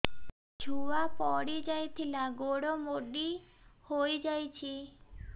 ଛୁଆ ପଡିଯାଇଥିଲା ଗୋଡ ମୋଡ଼ି ହୋଇଯାଇଛି